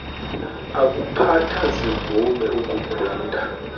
akuphatha zivume ukumgwinta